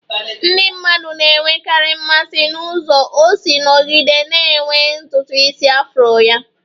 Ndị mmadụ na-enwekarị mmasị n'ụzọ o si nọgide na-enwe ntutu isi afro ya